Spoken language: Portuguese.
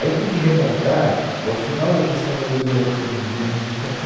Aí tem que remontar ao final da gestão da Luiza E Erundina no Butantã.